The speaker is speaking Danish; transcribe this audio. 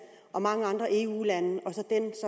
og mange andre eu lande